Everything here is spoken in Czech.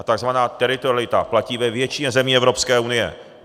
A tzv. teritorialita platí ve většině zemí Evropské unie.